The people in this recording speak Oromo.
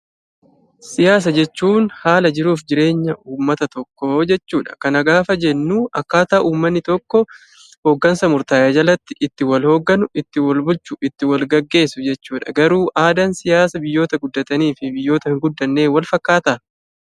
Siyaasa jechuun haala jiruu fi jireenya uummata tokkoo jechuudha. Kana gaafa jennu akkaataa uummanni tokko hoggansa murtaa'e jalatti itti wal hogganu, itti walhubatu, itti walgaggeessu jechuudha. Garuu aadaan siyaasa biyyoota guddatanii fi biyyoota hin guddannee walfakkaataa?